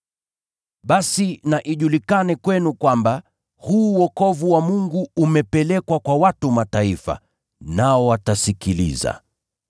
“Basi na ijulikane kwenu kwamba, huu wokovu wa Mungu umepelekwa kwa watu wa Mataifa, nao watasikiliza.” [